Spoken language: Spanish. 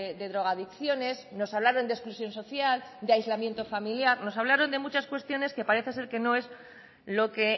de drogadicciones nos hablaron de exclusión social de aislamiento familiar nos hablaron de muchas cuestiones que parece ser que no es lo que